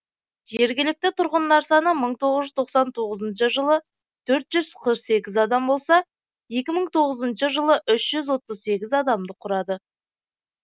жергілікті тұрғындар саны мың тоғыз жүз тоқсан тоғызыншы жылы төрт жүз қырық сегіз адам болса екі мың тоғызыншы жылы үш жүз отыз сегіз адамды құрады